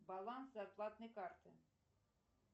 баланс зарплатной карты